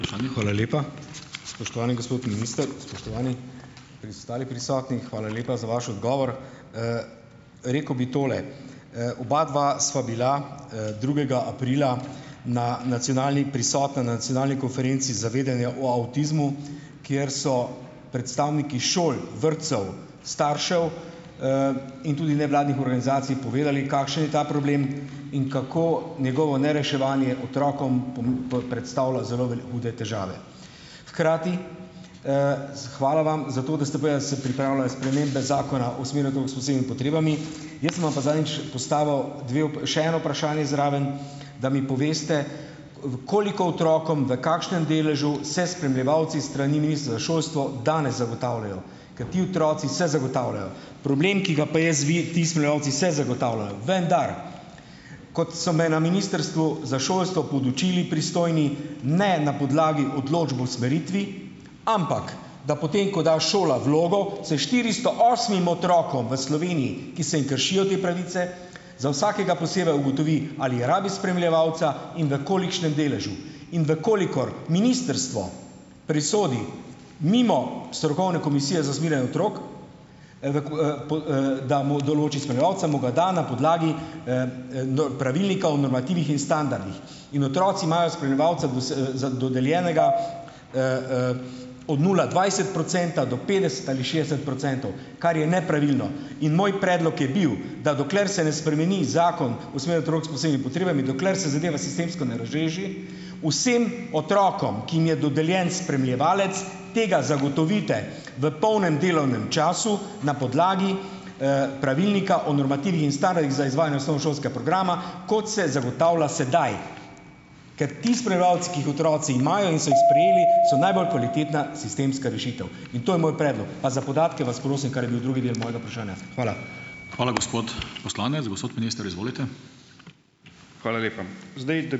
Hvala lepa. Spoštovani gospod minister, spoštovani ostali prisotni. Hvala lepa za vaš odgovor. Rekel bi tole. Obadva sva bila, drugega aprila na Nacionalni prisotna na Nacionalni konferenci zavedanja o avtizmu, kjer so predstavniki šol, vrtcev, staršev, in tudi nevladnih organizacij povedali, kakšen je ta problem in kako njegovo nereševanje otrokom predstavlja zelo, hude težave. Hkrati, hvala vam. Jaz sem vam pa zadnjič postavil dve še eno vprašanje zraven. Da mi poveste, koliko otrokom, v kakšnem deležu, se spremljevalci s strani Ministra za šolstvo danes zagotavljajo. Ker ti otroci se zagotavljajo. Problem, ki ga ti spremljevalci se zagotavljajo - vendar, kot so me na Ministrstvu za šolstvo podučili pristojni, ne na podlagi odločb v usmeritvi, ampak, da potem ko da šola vlogo, se štiristo osmim otrokom v Sloveniji, ki se jim kršijo te pravice, za vsakega posebej ugotovi, ali rabi spremljevalca in v kolikšnem deležu. In v kolikor ministrstvo presodi mimo strokovne komisije za usmerjanje otrok, da mu določi spremljevalca, mu ga da na podlagi Pravilnika o normativih in standardih. In otroci imajo spremljevalca dodeljenega, od nula dvajset procenta do petdeset ali šest procentov. Kar je nepravilno. In moj predlog je bil, da dokler se ne spremeni Zakon o s posebnimi potrebami, dokler se zadeva sistemsko ne razreši, vsem otrokom, ki jim je dodeljen spremljevalec, tega zagotovite v polnem delovnem času na podlagi, Pravilnika o normativih in standardih za izvajanje osnovnošolskega programa, kot se zagotavlja sedaj, ker ti spremljevalci, ki jih otroci imajo in so jih sprejeli, so najbolj kvalitetna sistemska rešitev in to je moj predlog. Pa za podatke vas prosim, kar je bil drugi del mojega vprašanja. Hvala. Hvala, gospod poslanec. Gospod, minister izvolite. Hvala lepa. Zdaj ...